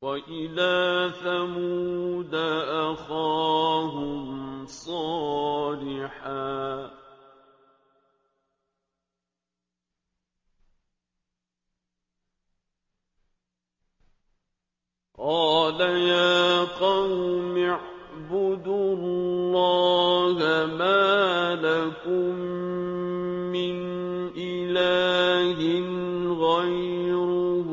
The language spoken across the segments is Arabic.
وَإِلَىٰ ثَمُودَ أَخَاهُمْ صَالِحًا ۗ قَالَ يَا قَوْمِ اعْبُدُوا اللَّهَ مَا لَكُم مِّنْ إِلَٰهٍ غَيْرُهُ ۖ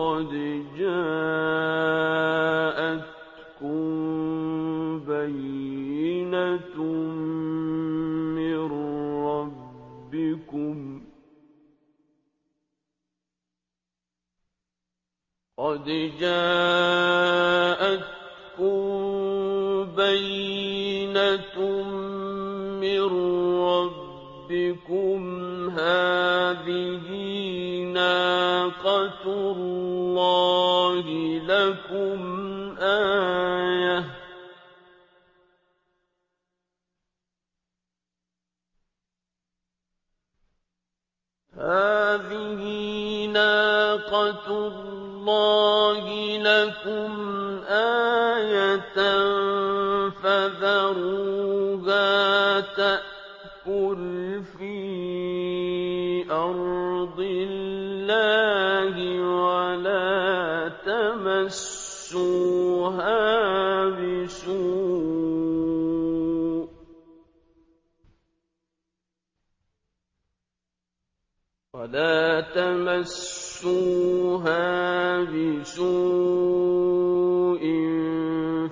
قَدْ جَاءَتْكُم بَيِّنَةٌ مِّن رَّبِّكُمْ ۖ هَٰذِهِ نَاقَةُ اللَّهِ لَكُمْ آيَةً ۖ فَذَرُوهَا تَأْكُلْ فِي أَرْضِ اللَّهِ ۖ وَلَا تَمَسُّوهَا بِسُوءٍ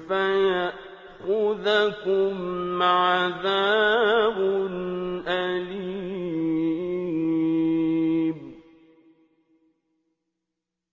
فَيَأْخُذَكُمْ عَذَابٌ أَلِيمٌ